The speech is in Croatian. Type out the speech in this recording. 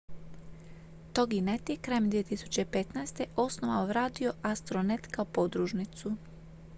toginet je krajem 2015. osnovao radio astronet kao podružnicu